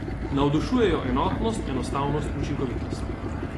Navdušujejo enotnost, enostavnost, učinkovitost.